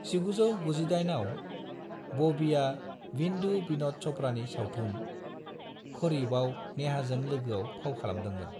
1998 आव, बबिआ विधु बिन'द च'पड़ानि सावथुन, खरिबआव नेहाजों लोगोआव फाव खालामदोंमोन।